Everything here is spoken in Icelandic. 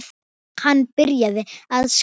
Hann byrjar að skrá.